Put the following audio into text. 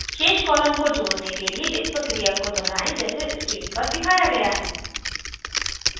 शेष columns को जोडने के लिए इस प्रक्रिया को दोहराएँ जैसे screen पर दिखाया गया है